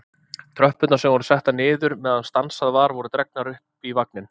Tröppurnar sem voru settar niður meðan stansað var voru dregnar upp í vagninn.